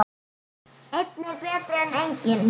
Einn er betri en enginn!